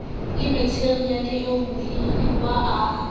le matheriale oo mohiruwa a